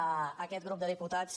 a aquest grup de diputats